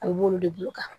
A bɛ mun de bolo kan